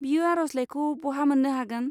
बियो आरजलाइखौ बहा मोन्नो हागोन?